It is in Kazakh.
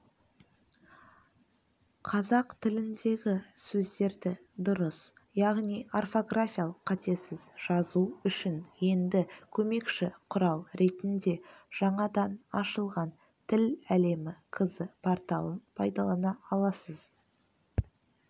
қазақ тіліндегі сөздерді дұрыс яғни орфографиялық қатесіз жазу үшін енді көмекші құрал ретінде жаңадан ашылған тіл-әлемі кз порталын пайдалана аласыз